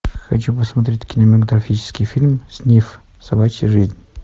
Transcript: хочу посмотреть кинематографический фильм снифф собачья жизнь